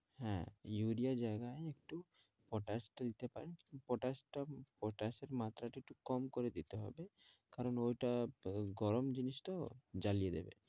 হ্যাঁ ইউরিয়ার জায়গায় একটু পটাশটা দিতে পারেন পটাশটা পটাশের মাত্রাটা একটু কম করে দিতে হবে, কারণ ওইটা গরম জিনিস তো জ্বালিয়ে দেবে